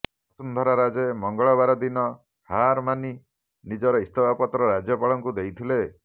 ବସୁଂଧରା ରାଜେ ମଙ୍ଗଳବାରଦିନ ହାରମାନି ନିଜର ଇସ୍ତପା ପତ୍ର ରାଜ୍ୟପାଳଙ୍କୁ ଦେଇଥିଲେ